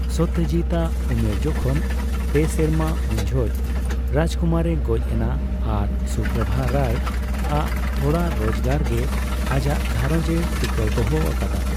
ᱥᱚᱛᱛᱚᱡᱤᱛ ᱟᱜ ᱩᱢᱮᱨ ᱡᱚᱠᱷᱚᱱ ᱯᱮ ᱥᱮᱨᱢᱟ ᱩᱱᱡᱚᱦᱚᱜ ᱥᱩᱠᱩᱢᱟᱨᱮ ᱜᱚᱡ ᱮᱱᱟ ᱟᱨ ᱥᱩᱯᱨᱚᱵᱷᱟ ᱨᱟᱭᱟᱜ ᱛᱷᱚᱲᱟ ᱨᱳᱡᱜᱟᱨ ᱜᱮ ᱟᱡᱟᱜ ᱜᱷᱟᱸᱨᱚᱡ ᱮ ᱴᱤᱠᱟᱹᱣ ᱫᱚᱦᱚ ᱟᱠᱟᱫᱟ ᱾